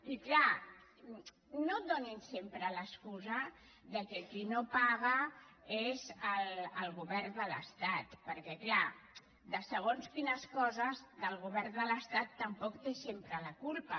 i és clar no donin sempre l’excusa que qui no paga és el govern de l’estat perquè és clar de segons quines coses el govern de l’estat tampoc en té sempre la culpa